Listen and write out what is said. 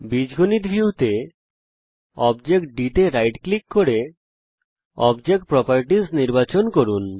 algebra view তে object d তে right click করে অবজেক্ট প্রপার্টিস নির্বাচন করুন